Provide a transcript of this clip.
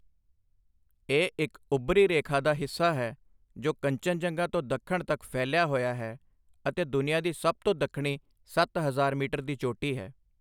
ਇਹ ਇੱਕ ਉੱਭਰੀ ਰੇਖਾ ਦਾ ਹਿੱਸਾ ਹੈ ਜੋ ਕੰਚਨਜੰਗਾ ਤੋਂ ਦੱਖਣ ਤੱਕ ਫੈਲਿਆ ਹੋਇਆ ਹੈ ਅਤੇ ਦੁਨੀਆ ਦੀ ਸਭ ਤੋਂ ਦੱਖਣੀ ਸੱਤ ਹਜ਼ਾਰ ਮੀਟਰ ਦੀ ਚੋਟੀ ਹੈ।